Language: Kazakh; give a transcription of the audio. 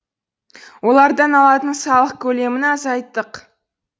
олардан алатын салық көлемін азайттық